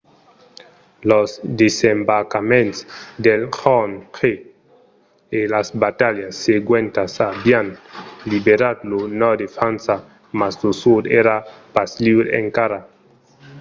los desembarcaments del jorn j e las batalhas seguentas avián liberat lo nòrd de frança mas lo sud èra pas liure encara